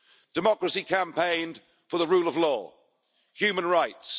Democracy campaigned for the rule of law, human rights